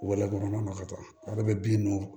Wɛlɛman ma ka taa ale bɛ bin don